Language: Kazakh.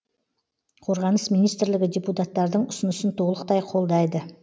қорғаныс министрлігі депутаттардың ұсынысын толықтай қолдайды